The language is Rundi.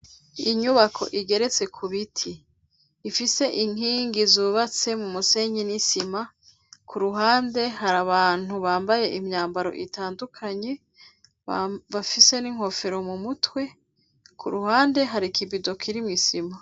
Inyubako igeretse ku biti ifise inkingi zubatse mu musenyi n'isima ku ruhande hari abantu bambaye imyambaro itandukanye bafise n'inkofero mu mutwe ku ruhande hari ikibido kiriho isima.